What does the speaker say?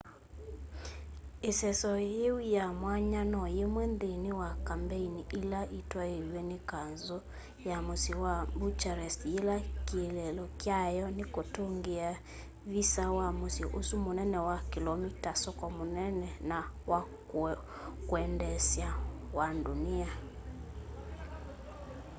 iseso yiu ya mwanya no yimwe nthini wa kambeini ila itwaiiw'e ni kanzu ya musyi wa bucharest yila kieleelo kyayo ni kutungia visa wa musyi usu munene wa kilomi ta soko munene na wa kwendeesya wa ndunia